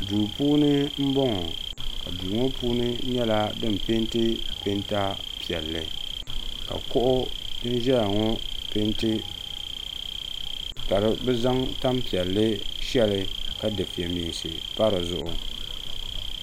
duu puuni n bɔŋɔ ka duu ŋɔ puuni nyɛla din peenti peenta piɛlli ka kuɣu din ʒɛya ŋɔ peenti ka bi zaŋ tani piɛlli shɛli ka dufɛ meensi pa dizuɣu